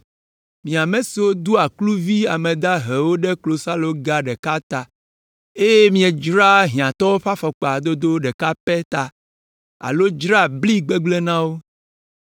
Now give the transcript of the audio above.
Mi ame siwo doa kluvi ame dahewo ɖe klosaloga ɖeka ta, eye miedzraa hiãtɔwo ɖe afɔkpa dodo ɖeka pɛ ta alo dzraa bli gbegblẽ na wo.